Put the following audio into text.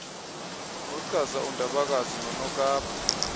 achaza undabakazi nonokapa